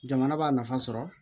Jamana b'a nafa sɔrɔ